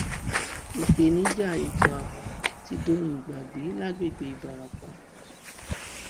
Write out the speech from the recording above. ìpèníjà ètò ààbò ti dohun ìgbàgbé lágbègbè ìbarapá